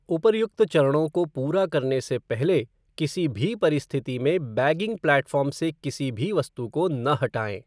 उपर्युक्त चरणों को पूरा करने से पहले किसी भी परिस्थिति में बैगिंग प्लेटफ़ॉर्म से किसी भी वस्तु को न हटाएं।